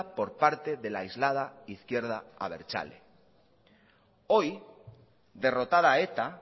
por parte de la aislada izquierda abertzale hoy derrotada eta